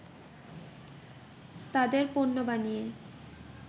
তাদের পণ্য বানিয়ে